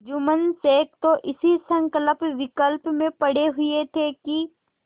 जुम्मन शेख तो इसी संकल्पविकल्प में पड़े हुए थे कि